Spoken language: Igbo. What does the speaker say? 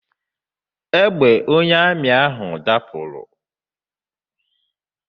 Egbe onye amị ahụ dapụrụ.